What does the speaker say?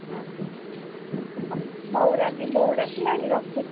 ହଁ ହଉ ରାଧୀ ବୋଉ ଡାକିଲାଣି ରଖୁଛି।